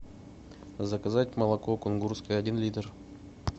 заказать молоко кунгурское один литр